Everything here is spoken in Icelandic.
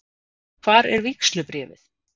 Hvar er vígslubréfið?